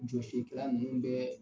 Jɔsilikɛla nunnu bɛ